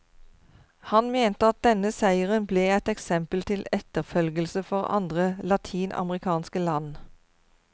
Han mente at denne seieren ble et eksempel til etterfølgelse for andre latinamerikanske land.